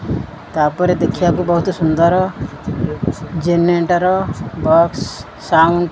ତାପରେ ଦେଖିବାକୁ ବହୁତ୍ ସୁନ୍ଦର ଜେନେରେଟର ବକ୍ସ ସାଉଣ୍ଡ ।